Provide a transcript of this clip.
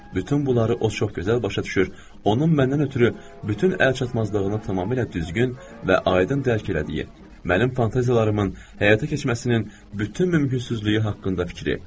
Bütün bunları o çox gözəl başa düşür, onun mənə nəzəri bütün əlçatmazlığının tamamilə düzgün və aydın dərk elədiyi, mənim fantaziyalarımın həyata keçməsinin bütün mümkünsüzlüyü haqqında fikri.